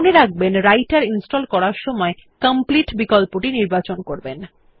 মনে রাখবেনWriter ইনস্টল করার সময় কমপ্লিট বিকল্পটি নির্বাচন করবেন